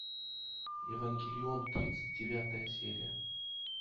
евангелион тридцать девятая серия